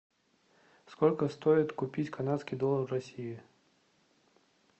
сколько стоит купить канадский доллар в россии